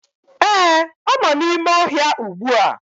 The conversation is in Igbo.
Ee, ọ nọ n'ime ọhịa ugbu a!